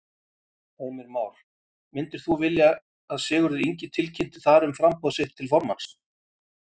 Heimir Már: Myndir þú vilja að Sigurður Ingi tilkynnti þar um framboð sitt til formanns?